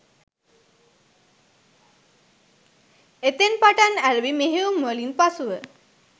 එතැන් පටන් ඇරඹි මෙහෙයුම්වලින් පසුව